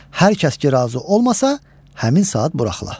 Hər kəs ki, razı olmasa, həmin saat buraxıla.